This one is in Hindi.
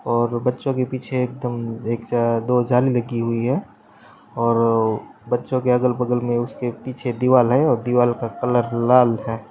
और बच्चों के पीछे एकदम एक दो जाले लगी हुई है और बच्चो के अगल बगल मे उसके पीछे दीवाल है और दीवाल का कलर लाल है।